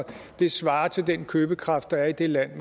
det svarer til den købekraft der er i det land